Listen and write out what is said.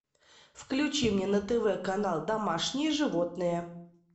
включи мне на тв канал домашние животные